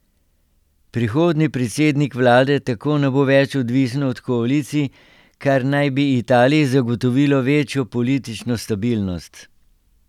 Prihodnji predsednik vlade tako ne bo več odvisen od koalicij, kar naj bi Italiji zagotovilo večjo politično stabilnost.